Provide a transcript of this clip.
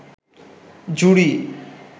জুড়ি